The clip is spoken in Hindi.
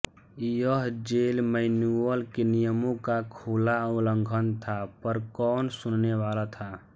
यह जेल मैनुअल के नियमों का खुला उल्लंघन था पर कौन सुनने वाला था